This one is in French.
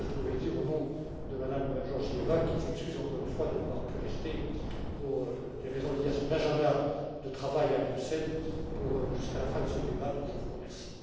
Voilà ce que je pouvais dire au nom de Mme Georgieva, qui s'excuse encore une fois de n'avoir pu rester, pour des raisons liées à son agenda de travail à Bruxelles, jusqu'à la fin de ce débat, dont je vous remercie.